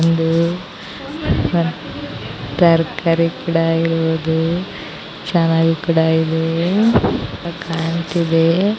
ಇದು ತರಕಾರಿ ಕೂಡ ಇರೋದು ಚೆನ್ನಾಗಿ ಕೂಡ ಇದೆ.